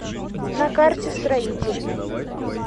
на карте строитель